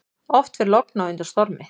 Oft fer logn á undan stormi.